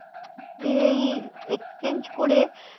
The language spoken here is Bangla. এ এই এই exchange করে